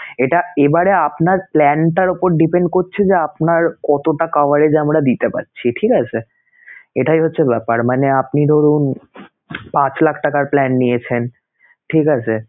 এটা এবারে আপনার plan টার উপর depend করছে যে, আপনার কতটা coverage আমরা দিতে পারছিঠিক আছে sir? এটাই হচ্ছে ব্যাপার মানে আপনি ধরুন পাঁচ লাখ টাকার plan নিয়েছেন, ঠিক আছে?